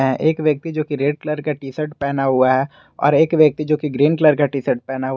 एक व्यक्ति जो कि रेड कलर का टी_शर्ट पेहना हुआ है और एक व्यक्ति जो कि ग्रीन कलर का टी_शर्ट पेहना हुआ --